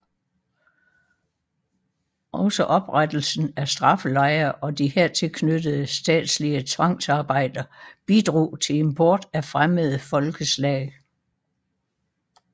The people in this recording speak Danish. Også oprettelsen af straffelejre og de hertil knyttede statslige tvangsarbejder bidrog til import af fremmede folkeslag